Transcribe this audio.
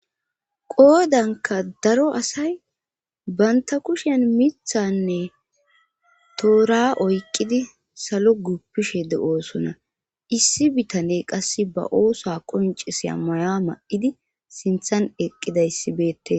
qoodanka daro asay banta kushen mithanne toora oyqqidi salo guppishe de7oosona issi bitane qasse ba oosa qoncisa maya ma7idi sinthan eqqida yssibeette